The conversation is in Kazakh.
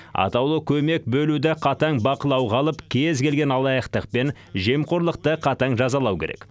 атаулы көмек бөлуді қатаң бақылауға алып кез келген алаяқтық пен жемқорлықты қатаң жазалау керек